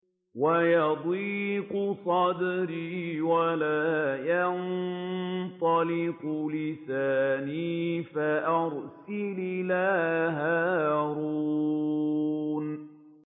وَيَضِيقُ صَدْرِي وَلَا يَنطَلِقُ لِسَانِي فَأَرْسِلْ إِلَىٰ هَارُونَ